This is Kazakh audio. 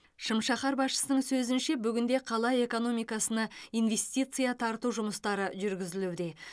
шым шаһар басшысының сөзінше бүгінде қала эконоикасына инвестиция тарту жұмыстары жүргізілуде